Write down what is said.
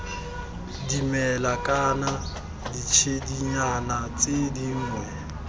dimela kana ditshedinyana tse dingwe